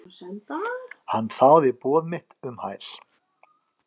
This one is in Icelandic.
Hann þáði boð mitt um hæl.